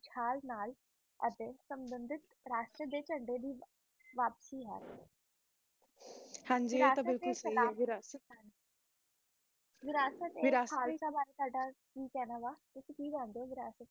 ਰਾਸ਼ੇ ਦੀ ਝੰਡੇ ਦੀ ਵਾਪਸੀ ਹੈ ਹਨ ਜੀ ਹੈ ਤੋਂ ਬਿਲਕੁਲ ਸਹੀ